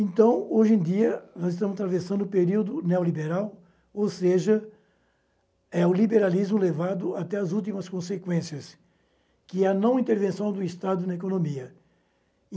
Então, hoje em dia, nós estamos atravessando um período neoliberal, ou seja, é o liberalismo levado até as últimas consequências, que é a não intervenção do Estado na economia.